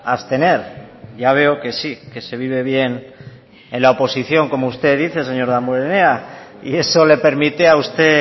a abstener ya veo que sí que se vive bien en la oposición como usted dice señor damborenea y eso le permite a usted